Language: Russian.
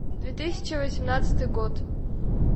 две тысячи восемнадцатый год